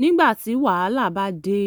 nígbà tí wàhálà bá dé